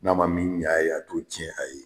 N'a ma min ɲ'a ye , a t'o tiɲɛ a ye.